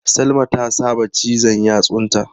Salma ta saba cizan yatsunta.